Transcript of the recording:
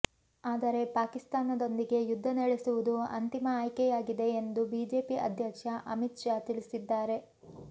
ಆದರೆ ಪಾಕಿಸ್ತಾನದೊಂದಿಗೆ ಯುದ್ಧ ನಡೆಸುವುದು ಅಂತಿಮ ಆಯ್ಕೆಯಾಗಿದೆ ಎಂದು ಬಿಜೆಪಿ ಅಧ್ಯಕ್ಷ ಅಮಿತ್ ಶಾ ತಿಳಿಸಿದ್ದಾರೆ